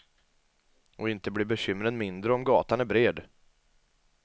Och inte blir bekymren mindre om gatan är bred.